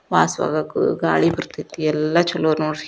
ವಾಸವಾಗಕೂ ಗಾಳಿ ಬರ್ತೇತಿ ಎಲ್ಲ ಚೊಲೋ ನೋಡ್ರಿ.